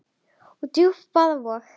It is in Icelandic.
og djúpan vaða vog.